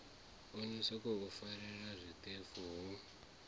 no sokou farelela zwiṱefu ho